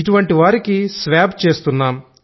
ఇటువంటి వారికి శ్వాబ్ చేస్తున్నాం